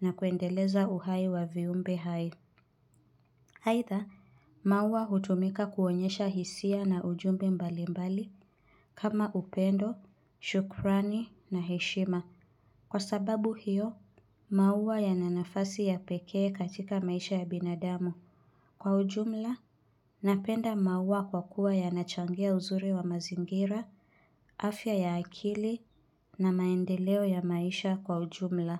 na kuendeleza uhai wa viumbe hai. Aidha, maua hutumika kuonyesha hisia na ujumbe mbali mbali. Kama upendo, shukurani na heshima. Kwa sababu hiyo, maua yananafasi ya pekee katika maisha ya binadamu. Kwa ujumla, napenda maua kwa kuwa yanachangia uzuri wa mazingira, afya ya akili na maendeleo ya maisha kwa ujumla.